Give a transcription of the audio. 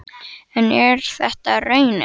En er þetta raunin?